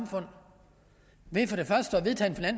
for